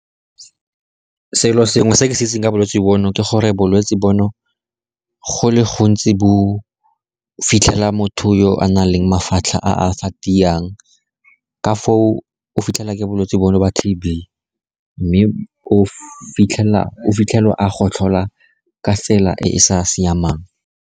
Selo sengwe se ke se itseng ka bolwetsi bono ke gore bolwetsi bono go le gontsi bo fitlhela motho yo a na leng mafatlha a a sa tiang, ka foo o fitlhela ke bolwetse bono ba T_B mme o fitlhelwa a gotlhola ka tsela e e sa siamang.